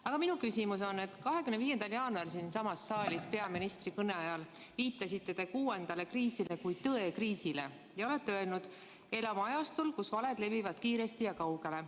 Aga minu küsimus on selle kohta, et 25. jaanuaril siinsamas saalis peaministri kõnet pidades viitasite te kuuendale kriisile kui tõekriisile ja ütlesite: "Elame ajastul, kus valed levivad kiiresti ja kaugele.